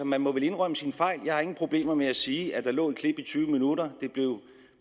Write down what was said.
man må vel indrømme sine fejl jeg har ingen problemer med at sige at der lå et klip i tyve minutter